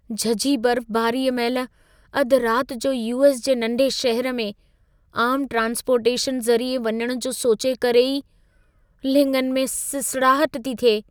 झझी बर्फबारीअ महिल अधि राति जो यू.एस. जे नंढे शहर में, आम ट्रान्सपोर्टेशन ज़रिए वञण जो सोचे करे ई लिङनि में सिसड़ाहट थी थिए।